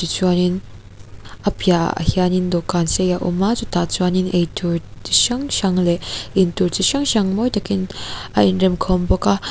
chuanin a piah ah hianin dawhkan sei a awm a chutah chuanin eitur chi hrang hrang leh in tur chi hrang hrang mawi takin a in remkhawm bawk a.